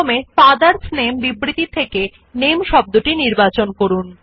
কাট এবং পেস্ট করার জন্য প্রথমে ফাদারস নামে বিবৃতি থেকে NAMEশব্দটি নির্বাচন করুন